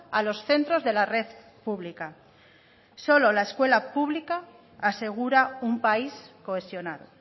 a los centros de la red pública solo la escuela pública asegura un país cohesionado